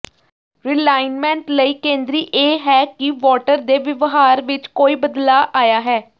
realignment ਲਈ ਕੇਂਦਰੀ ਇਹ ਹੈ ਕਿ ਵੋਟਰ ਦੇ ਵਿਵਹਾਰ ਵਿਚ ਕੋਈ ਬਦਲਾਅ ਆਇਆ ਹੈ